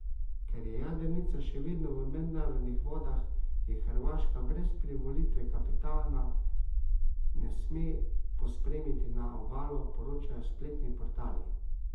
Ker je jadrnica še vedno v mednarodnih vodah, je Hrvaška brez privolitve kapitana ne sme pospremiti na obalo, poročajo spletni portali.